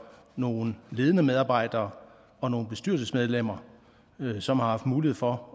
nogle ledende medarbejdere og nogle bestyrelsesmedlemmer som har haft mulighed for